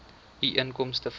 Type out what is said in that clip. u inkomste vanuit